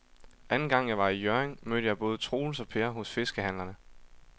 Anden gang jeg var i Hjørring, mødte jeg både Troels og Per hos fiskehandlerne.